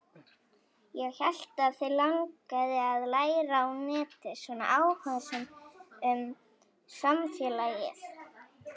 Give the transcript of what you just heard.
Ég hélt að þig langaði að læra á netið, svona áhugasöm um samfélagið.